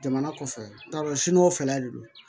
Jamana kɔfɛ n t'a dɔn sini o fɛla de don